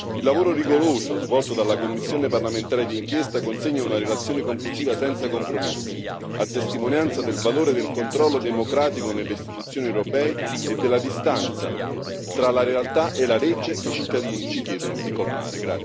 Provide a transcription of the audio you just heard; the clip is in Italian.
Il lavoro rigoroso svolto dalla commissione parlamentare di inchiesta consegna una relazione conclusiva senza compromessi, a testimonianza del valore del controllo democratico nelle istituzioni europee e della distanza tra la realtà e la legge, che i cittadini ci chiedono di colmare.